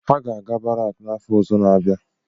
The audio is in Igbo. Ha ga-aga barak n'afọ ọzọ n'abia